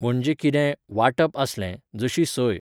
म्हणजे कितें, वांटप आसलें, जशी सोय.